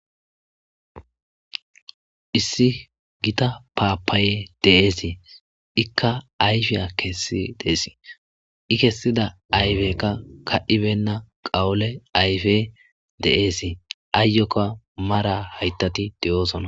issi gita paapaaye de'ese ikka ayfiya kessi deesi i kessida ayfekka ka7ibenna qawole ayfe de7eesi aayyokka mara haytati de7oosona